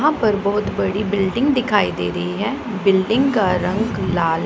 हम पर बहोत बड़ी बिल्डिंग दिखाई दे रही है बिल्डिंग का रंग लाल--